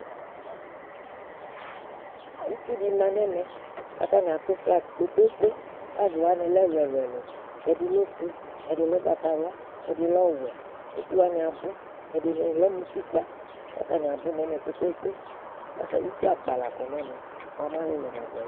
itsʋ di manʋ ɛmɛ kʋ atani atʋ flag kpekpe, flag wanilɛ ɛlʋɛlʋ ɛdi lɛ ɔƒʋɛ, ɛdi lɛ ɔgbatawla ,ɛdi lɛ ɔwɛ ɛdi ɛdi wani abʋ ɛdini lɛmʋ ʋtikpa kʋ atani abʋ nʋ ɛmɛ kpekpe kʋ itsʋ akpa lakɔ nʋ ɛmɛ bʋamɛ alʋlʋ nadʋ ali